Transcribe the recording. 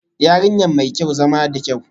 Yarinya mai kyau, zama da kyau